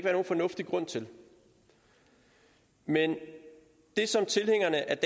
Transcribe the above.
nogen fornuftig grund til men det som tilhængerne af